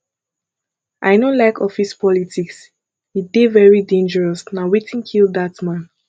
i no like office politics e dey very dangerous na wetin kill dat man